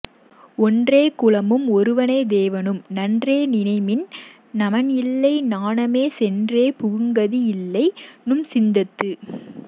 ஒன்றே குலமும் ஒருவனே தேவனும் நன்றே நினைமின் நமன்இல்லை நாணாமே சென்றே புகும்கதி இல்லை நும்சித்தத்து